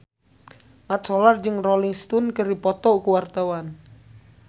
Mat Solar jeung Rolling Stone keur dipoto ku wartawan